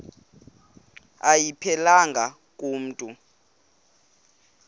ayiphelelanga ku mntu